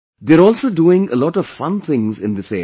They're also doing a lot of fun things in this area